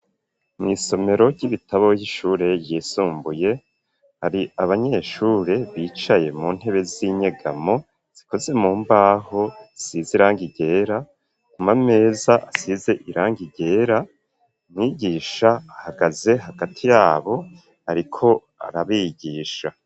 Mw'isomero ry'ibitabo y'ishure ryisumbuye hari abanyeshure bicaye mu ntebe z'inyegamo zikoze mu mbaho size irangi ryera kumameza hasize irangi ryera mwigisha ahagaze hagati yabo ariko arabigisha.